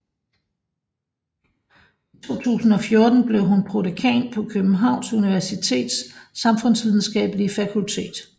I 2014 blev hun prodekan på Københavns Universitets Samfundsvidenskabelige Fakultet